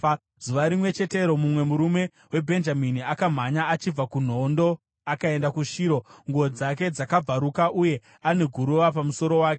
Zuva rimwe chetero, mumwe murume weBhenjamini akamhanya achibva kuhondo akaenda kuShiro, nguo dzake dzakabvaruka uye ane guruva pamusoro wake.